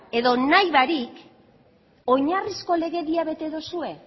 edo nahi barik oinarrizko legeria bete duzue